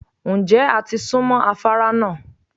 Ǹjẹ́ a ti sún mọ́ afárá náà?